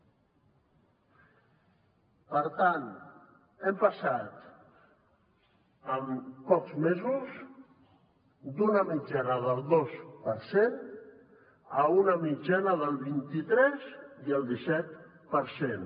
per tant hem passat en pocs mesos d’una mitjana del dos per cent a una mitjana del vint i tres i el disset per cent